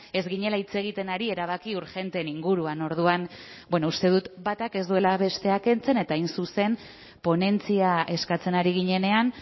ez ginela hitz egiten ari erabaki urgenteen inguruan orduan bueno uste dut batak ez duela besteak kentzen eta hain zuzen ponentzia eskatzen ari ginenean